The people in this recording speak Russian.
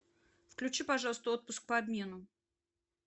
включи пожалуйста отпуск по обмену